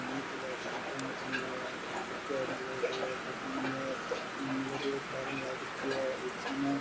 swimming pool है swimming pool में पानी है पानी है नील कलर की टाइल लाग रखी है और सामे --